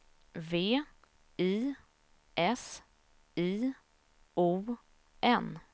V I S I O N